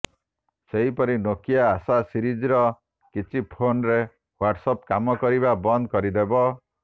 ସେହିପରି Nokia Asha ସିରିଜର କିଛି ଫୋନ୍ରେ ହ୍ବାଟସ୍ ଆପ୍ କାମ କରିବା ବନ୍ଦ କରିଦେବ